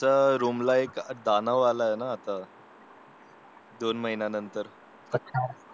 त्या रूमला एक दानव आला आहे आता दोन महिन्यानंतर